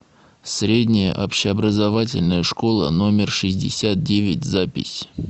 средняя общеобразовательная школа номер шестьдесят девять запись